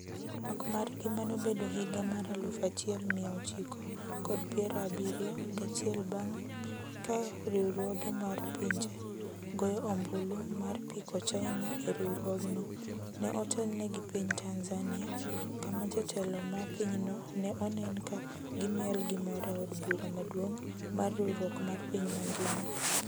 Twak margi mano bedo higa mar aluf achiel mia ochiko kod piero abiriyo gachiel bang' ka riwruoge mar pinje goyo ombulu mar piko China e riwruogno, ne otelne gi piny Tanzania kama jotelo mag pinyno ne onen ka gimiel gi mor e od bura maduong’ mar riwruok mar piny mangima.